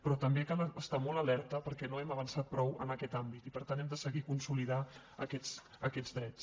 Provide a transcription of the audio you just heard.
però també cal estar molt alerta perquè no hem avançat prou en aquest àmbit i per tant hem de seguir i consolidar aquests drets